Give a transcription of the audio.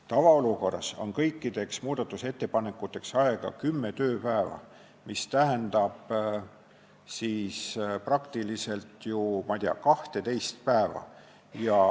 Tavaolukorras on kõikide muudatusettepanekute esitamiseks aega kümme tööpäeva, mis tähendab praktiliselt 12 päeva.